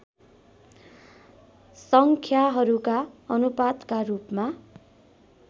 सङ्ख्याहरूका अनुपातका रूपमा